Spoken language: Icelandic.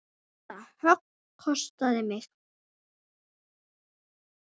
Það högg kostaði mig.